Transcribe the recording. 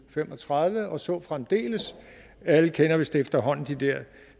fem og tredive og så fremdeles alle kender vist efterhånden de her